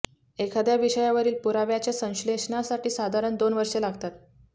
एखाद्या विषयावरील पुराव्याच्या संश्लेषणासाठी साधारण दोन वर्षे लागतात